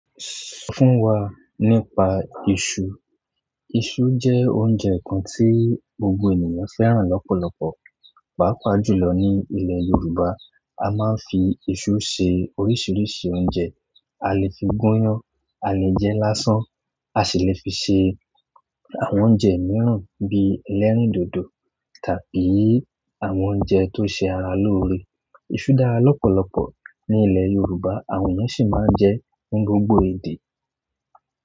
Sọ fún wa nípa iṣu. Iṣu jẹ́ oúnjẹ kan tí gbogbo ènìyàn fẹ́ràn lọ́pọ̀lọpọ̀, pàápàá jùlọ ní ilẹ̀ Yorùbá. A máa ń fi ìṣu ṣe oríṣiríṣi oúnjẹ. A lè fi gúnyán, a lè jẹ lásán, a sì le fi ṣe àwọn oúnjẹ mìíràn bíi ẹlẹ́rìndòdò tàbí àwọn oúnjẹ tó ṣe ara lóore. Iṣu dára lọ́pọ̀lọpọ̀ ní ilẹ̀ Yorùbá, àwọn ènìyàn sì máa ń jẹ ẹ́ ní gbogbo ede.